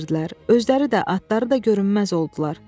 Özləri də atları da görünməz oldular.